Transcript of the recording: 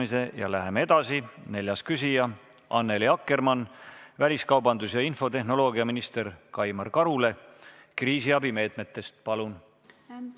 Aga üleskutse ettevõtjatele, aga miks mitte ka kohalikele omavalitsustele ja riigiasutustele loomulikult on, et kui on võimalik mingi aeg üüri mitte võtta või võtta vähendatud üüri, mida on ka mõnes kohas juba tehtud, siis neid meetmeid võiks rohkem rakendada, kui on võimalik sellega ettevõtjaid aidata.